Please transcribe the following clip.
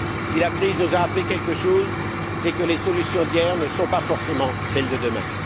si la crise nous a appris quelque chose, c'est que les solutions d'hier ne sont pas forcément celles de demain.